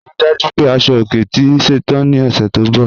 Rí dájú pé asọ-ọ̀kè tì ṣẹ́tàn ní ọṣẹ́ tó nbọ̀.